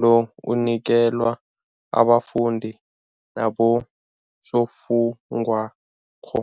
lo unikelwa abafundi nabosofundwakgho.